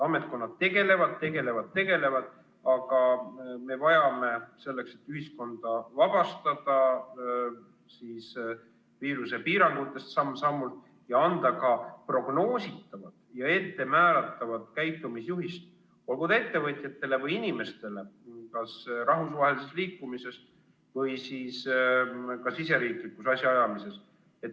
Ametkonnad tegelevad, tegelevad, tegelevad, aga me vajame selleks, et ühiskonda viirusepiirangutest samm-sammult vabastada, prognoositavat käitumisjuhist olgu ettevõtjatele või inimestele kas rahvusvahelises liikumises või siis ka riigisiseses asjaajamises.